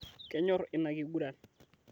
Kenyorr ina kiguran